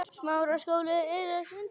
Hér hefur Kristín leit.